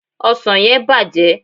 osan yen bàjé